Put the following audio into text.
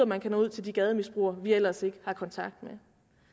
man kan nå ud til de gademisbrugere vi ellers ikke har kontakt med